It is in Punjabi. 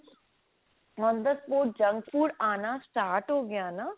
ਤੋਂ junk food ਆਉਣਾ start ਹੋਗੀਆ ਨਾ